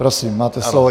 Prosím, máte slovo.